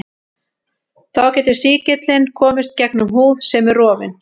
Þá getur sýkillinn komist gegnum húð sem er rofin.